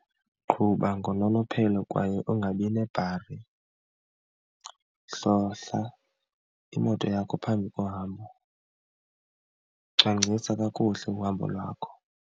Qhuba ngononophelo kwaye ungabi nebhari, hlohla imoto yakho phambi kohambo, cwangcisa kakuhle uhambo lwakho.